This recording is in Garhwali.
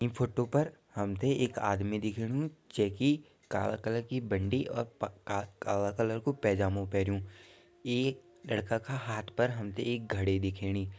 ईं फोटो पर हम्थे एक आदमी दिख्याणु जैकी काला कलर की बण्डी और प क काला कलर को पेजमा पेनु ई लड़का का हाथ पर हम्थे एक घड़ी दिख्याणी।